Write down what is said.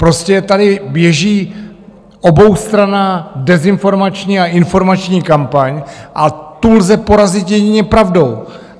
Prostě tady běží oboustranná dezinformační a informační kampaň a tu lze porazit jedině pravdou.